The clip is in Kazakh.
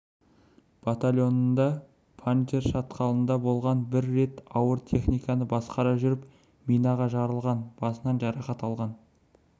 батальонда панджшер шатқалында болған бір рет ауыр техниканы басқара жүріп минаға жарылған басынан жарақат алған